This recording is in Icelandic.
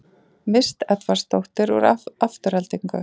Mist Edvarsdóttir úr Aftureldingu